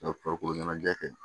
N'a farikolo ɲɛnajɛ kɛ